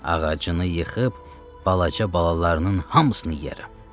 Ağacını yıxıb balaca balalarının hamısını yeyərəm.